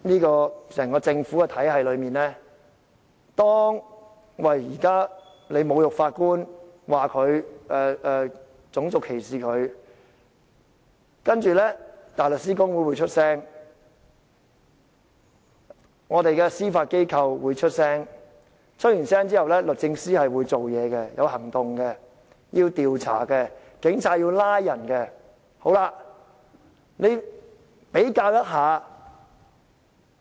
在整個政府的體系裏，當法官被侮辱，種族歧視，香港大律師公會及司法機構會發表意見，之後律政司會有行動，警方調查後就會作出拘捕。